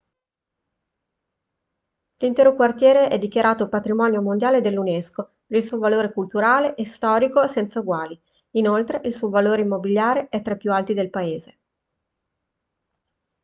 l'intero quartiere è dichiarato patrimonio mondiale dall'unesco per il suo valore culturale e storico senza eguali inoltre il suo valore immobiliare è tra i più alti del paese